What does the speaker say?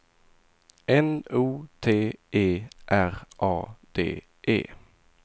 N O T E R A D E